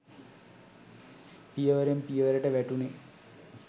පියවරෙන් පියවරට වැටුණේ